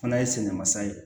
Fana ye sɛgɛn mansa ye